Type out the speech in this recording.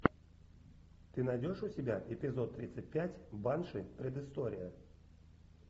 ты найдешь у себя эпизод тридцать пять банши предыстория